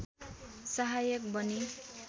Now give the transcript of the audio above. सहायक बने